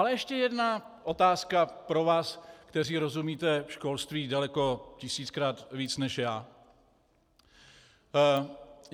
Ale ještě jedna otázka pro vás, kteří rozumíte školství daleko tisíckrát víc než já.